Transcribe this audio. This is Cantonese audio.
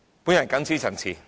我謹此陳辭。